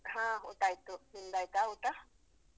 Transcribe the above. ಹಾ ಊಟ ಆಯ್ತು ನಿಮ್ದಯ್ತಾ ಊಟ?